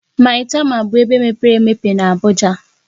Maitama bụ ebe mepere emepe na Abuja.